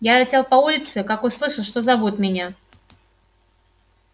я летел по улице как услышал что зовут меня